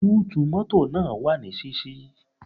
Búùtù mọ́tọ̀ náà wà ní ṣíṣí.